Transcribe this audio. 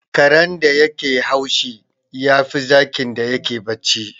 Karen da yake haushi, yafi zakin da yake bacci.